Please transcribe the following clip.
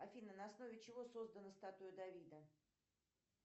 афина на основе чего создана статуя давида